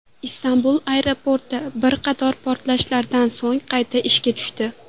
Istanbul aeroporti bir qator portlashlardan so‘ng qayta ishga tushdi.